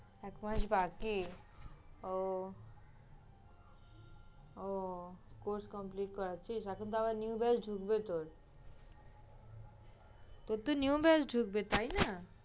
এক মাস বাকি? ও, ও course complete করাচ্ছিস? এখন তো আবার new batch ঢুকবে তোর। তোর তো new batch ঢুকবে, তাই না?